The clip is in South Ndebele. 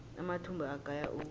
amathumbu agaya ukudla